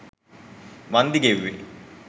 වන්දි ගෙව්වේ